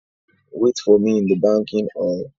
Wait for me in the banking hall